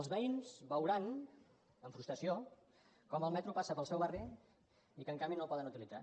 els veïns veuran amb frustració com el metro passa pel seu barri i que en canvi no el poden utilitzar